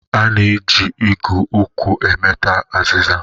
A na-eji igụ nkwụ emete azịza.